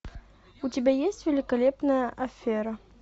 у тебя есть великолепная афера